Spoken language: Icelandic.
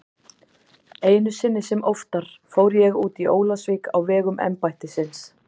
Einu sinni sem oftar fór ég út í Ólafsvík á vegum embættisins.